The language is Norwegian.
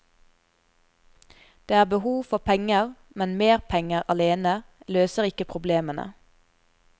Det er behov for penger, men mer penger alene løser ikke problemene.